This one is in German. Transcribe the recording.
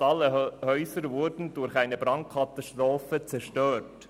Fast alle Häuser wurden durch eine Brandkatastrophe zerstört.